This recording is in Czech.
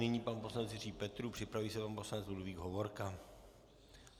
Nyní pan poslanec Jiří Petrů, připraví se pan poslanec Ludvík Hovorka.